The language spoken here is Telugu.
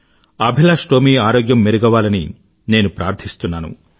అభిలాష్ టోమీ ఆరోగ్యం మెరుగవ్వాలని నేను ప్రార్థిస్తున్నాను